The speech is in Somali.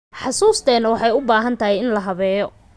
Xusuusteena waxay u baahan tahay in la habeeyo.